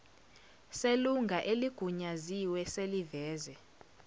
selunga eligunyaziwe seliveze